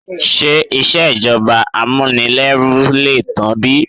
Ṣé ìṣèjọba Amunileru lè tán bí?